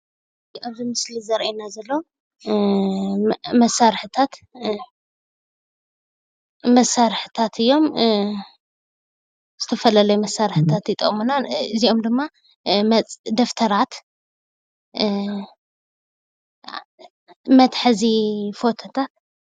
ኣብዚ ምስሊ ዘረእየና ዘሎ መሳርሕታት እዮም። ዝተፈላለዩ መሳርሕታት ይጠቅሙና እዚኦም ድማ ደብተራት መትሐዚ ፎቶታት።